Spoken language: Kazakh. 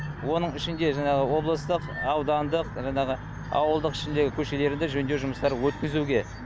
оның ішінде жаңағы облыстық аудандық жаңағы ауылдық ішіндегі көшелерді жөндеу жұмыстарын өткізуге